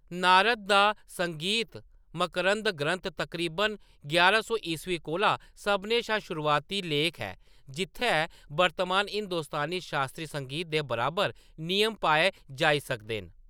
नारद दा संगीता मकरंद ग्रंथ, तकरीबन यारां सौ ईस्वी कोला, सभनें शा शुरुआती लेख ऐ जित्थै वर्तमान हिंदुस्तानी शास्त्री संगीत दे बराबर नियम पाए जाई सकदे न।